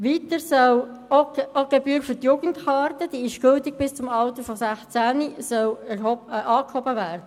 Weiter soll auch die Gebühr für die Jugendkarte für bis zu 16-Jährige angehoben werden.